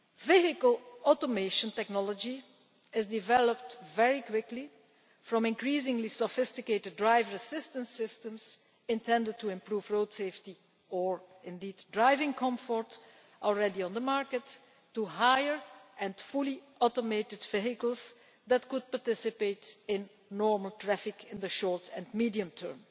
Vehicle automation technology has developed very quickly, from increasingly sophisticated driver assistance systems intended to improve road safety, and indeed driving comfort, already on the market, to fully automated vehicles that could participate in normal traffic in the short and medium term.